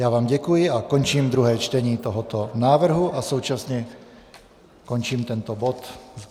Já vám děkuji a končím druhé čtení tohoto návrhu a současně končím tento bod.